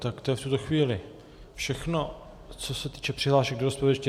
Tak to je v tuto chvíli všechno, co se týče přihlášek do rozpravy.